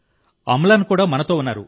అమ్లాన్ కూడా మనతో ఉన్నారు